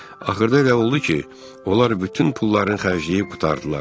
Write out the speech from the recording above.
Axırda elə oldu ki, onlar bütün pullarını xərcləyib qurtardılar.